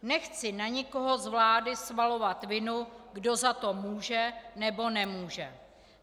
Nechci na někoho z vlády svalovat vinu, kdo za to může, nebo nemůže.